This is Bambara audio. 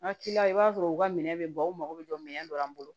N ka i b'a sɔrɔ u ka minɛn bɛ ban u mago bɛ jɔ minɛn dɔ la an bolo